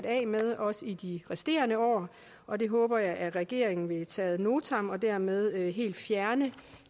af med også i de resterende år og det håber jeg regeringen vil tage ad notam og dermed helt fjerne